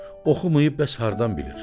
Oxumayıb bəs hardan bilir?